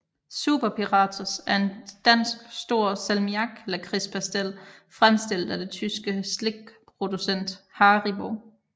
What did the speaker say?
Super Piratos er en dansk stor salmiaklakridspastil fremstillet af det tyske slikproducent Haribo